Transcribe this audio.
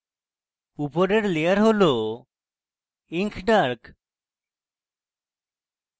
উপরের layer হল ink dark